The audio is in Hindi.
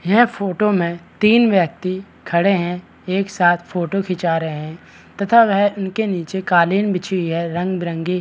यह फोटो मे तीन व्यक्ति खड़े है एक साथ फोटो खींचा रहे है तथा वह इनके नीचे कालीन बिछी हुई है रंग-बिरंगी।